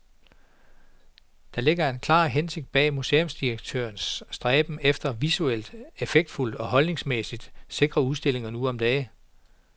Der ligger en klar hensigt bag museumsdirektørernes stræben efter visuelt effektfulde og holdningsmæssigt sikre udstillinger nu om dage.